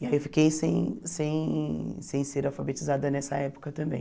E aí eu fiquei sem sem sem ser alfabetizada nessa época também.